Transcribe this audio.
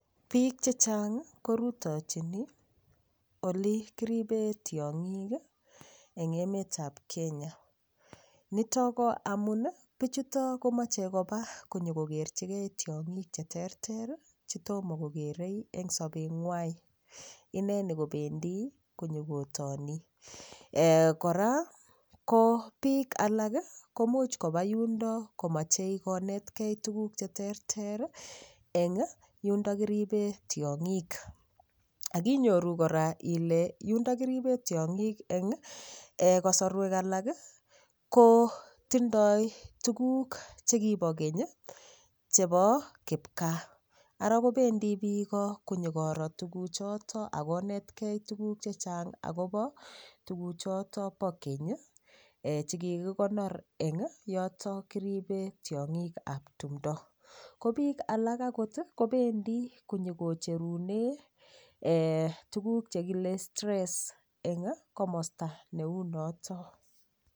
Piik chechang' korutochini ole kiripee tiong'ik eng' emet ap Kenya nitok ko amun pichuto komachei kopa konyoko kerchikei tiong'ik che terter chetomo kokerei eng sobetng'wai ineni kopendi konyokotini kora ko piik alak komuch kopa yundo komachei konetkei tukuuk che terter eng' yundo kiripee tiong'ik akinyoru kora ile yundo kiripee tiong'ik eng' kosorwek alak ko tindoi tukuuk chekipo keny chepo kipkaa ara kopendi piko konyokoro tukuchoto akonetkei tukuuk che chang' akopo tukuuk choto po keny chekikikonor eng' yoto kiripee tiong'ik ap tumdo ko piik alak akot kopendi konyokocherune tukuuk chekile stress eng' komosta neu noto